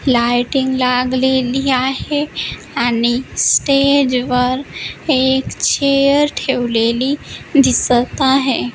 Lighting लागलेली आहे आणि स्टेजवर एक चेअर ठेवलेली दिसत आहे.